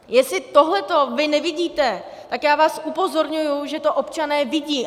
Jestli tohleto vy nevidíte, tak já vás upozorňuji, že to občané vidí.